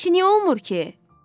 Əşi niyə olmur ki?